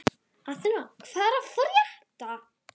Athena, hvað er að frétta?